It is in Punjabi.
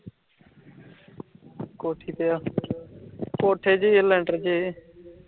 ਕੋਠੀ ਤੇ ਆ, ਕੋਠੇ ਤੇ ਜਾ ਲੈਂਟਰ ਤੇ